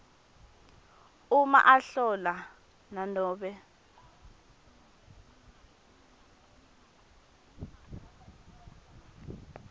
uma ahlola nanobe